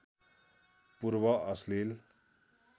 पूर्व अश्लिल